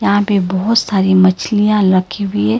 यहां पे बहोत सारी मछलियां रखी हुई है।